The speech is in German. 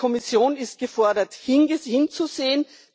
Die Kommission ist gefordert hinzusehen.